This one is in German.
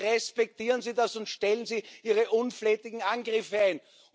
Bitte respektieren Sie das und stellen Sie Ihre unflätigen Angriffe ein!